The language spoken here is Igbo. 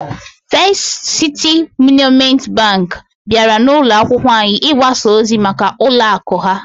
First City Monument Bank bịara n'ụlọ akwụkwọ anyị ịgbasa ozi maka ụlọ akụ ha